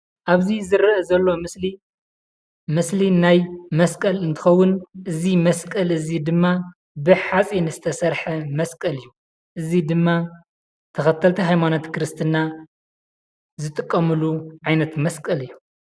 ኣብዚ ዝረአ ዘሎ ምስሊ ናይ መስቀል እንትኸውን እዚ መስቀል እዚ ድማ ብሓፂን ዝተሰርሐ መስቀል እዪ እዚ ድማ ተኸተልቲ ሃይማኖት ክርስትና ዝጥቀሙሉ ዓይነት መስቀል እዪ ።